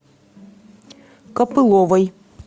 копыловой